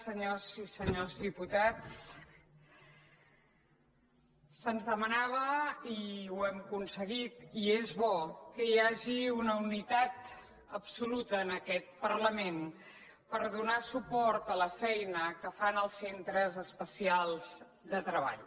senyores i senyors diputats se’ns demanava i ho hem aconseguit i és bo que hi hagi una unitat absoluta en aquest parlament per donar suport a la feina que fan els centres especials de treball